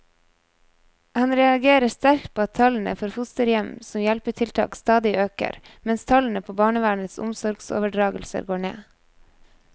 Han reagerer sterkt på at tallene for fosterhjem som hjelpetiltak stadig øker, mens tallene på barnevernets omsorgsoverdragelser går ned.